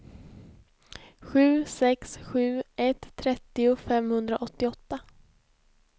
sju sex sju ett trettio femhundraåttioåtta